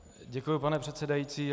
Děkuji, pane předsedající.